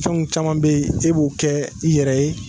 Fɛnw caman bɛ yen, e b'o kɛ i yɛrɛ ye.